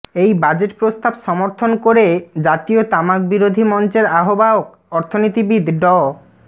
এই বাজেট প্রস্তাব সমর্থন করে জাতীয় তামাকবিরোধী মঞ্চের আহ্বায়ক অর্থনীতিবিদ ড